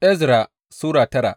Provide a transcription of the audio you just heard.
Ezra Sura tara